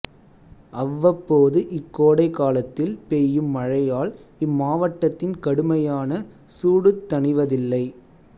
அவ்வப்போது இக்கோடைக்காலத்தில் பெய்யும் மழையால் இம்மாவட்டத்தின் கடுமையான சூடுத் தணிவதில்லை